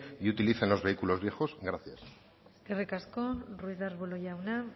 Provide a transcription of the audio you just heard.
y utilicen los vehículos viejos gracias eskerrik asko ruiz de arbulo jauna